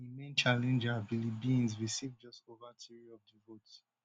im main challenger biliebynze receive just ova three of di votes